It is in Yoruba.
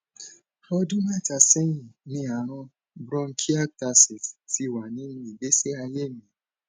ọdún mẹta sẹyìn ni ààrùn bronchiectasis ti wà nínú ìgbésí ayé mi